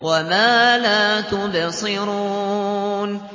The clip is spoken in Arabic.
وَمَا لَا تُبْصِرُونَ